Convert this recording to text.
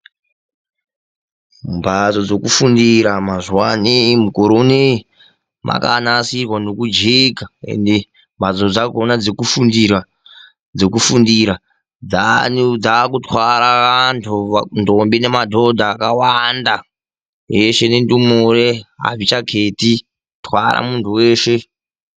Mbatso dzokufundira mazuva ano, mukore unowu. dzakanasirwa nekujeka. Ende mbatso dzakona dzokufundira, dzaakutwara antu, ndombi nemadhodha akawanda eshe, nendumure adzichaketi kutwara munthu weshe.